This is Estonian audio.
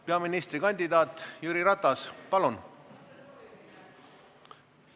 Peaministrikandidaat Jüri Ratas, palun!